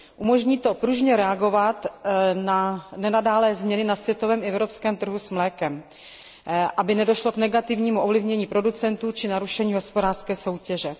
Umožní to pružně reagovat na nenadálé změny na světovém i evropském trhu s mlékem, aby nedošlo k negativnímu ovlivnění producentů či narušení hospodářské soutěže.